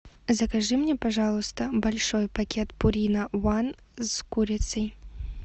закажи мне пожалуйста большой пакет пурина ван с курицей